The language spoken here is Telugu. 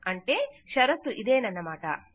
అంటే షరతు ఇదేనన్నమాట